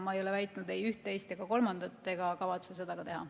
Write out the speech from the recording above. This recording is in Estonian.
Ma ei ole väitnud ei ühte, teist ega kolmandat ja ei kavatse seda ka teha.